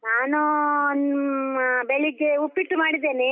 ನಾನು ಹ್ಮ್ ಆ ಬೆಳಗ್ಗೆ ಉಪ್ಪಿಟ್ಟು ಮಾಡಿದ್ದೇನೆ.